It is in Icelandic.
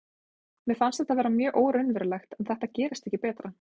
Mér fannst þetta vera mjög óraunverulegt en þetta gerist ekki betra,